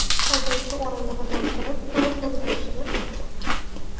Haydovchi o‘rindig‘idan turib, uni o‘ldirishini aytgan.